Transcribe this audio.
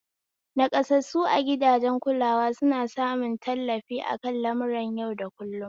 Naƙasassu a gidajen kulawa suna samun tallafi akan lamuran yau da kullun